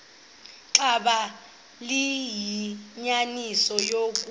xaba liyinyaniso eloku